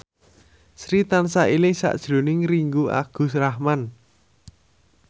Sri tansah eling sakjroning Ringgo Agus Rahman